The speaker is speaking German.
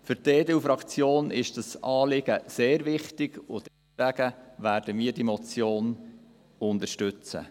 Für die EDU-Faktion ist dieses Anliegen sehr wichtig, und deswegen werden wir diese Motion unterstützen.